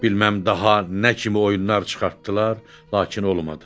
Bilməm daha nə kimi oyunlar çıxartdılar, lakin olmadı.